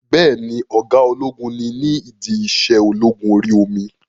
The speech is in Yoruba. Bẹ́ẹ̀ni, ọ̀gá ológun ni ní ìdí iṣẹ́ ológun orí omi?